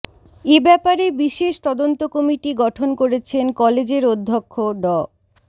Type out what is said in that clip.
এ ব্যাপারে বিশেষ তদন্ত কমিটি গঠন করেছেন কলেজের অধ্যক্ষ ড